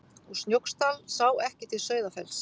Úr Snóksdal sá ekki til Sauðafells.